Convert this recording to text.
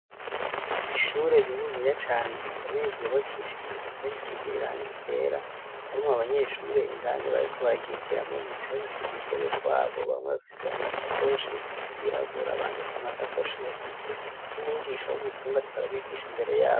Ishure rininiya cane rikomeye ryubakishije impome zisize irangi ryera harimwo abanyeshure indani bariko bararyigiramwo bicaye k'udutebe twabo bamwe bafise amasakoshi yirabura abandi at'amasakoshi bafise n'umwigisha w'umuzungu ariko arabigisha imbere yabo.